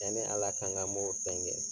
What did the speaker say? Yani Ala kan ka m'o fɛnkɛ